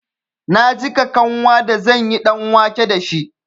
Na jiƙa kanwa da zanyi ɗanwake dashi.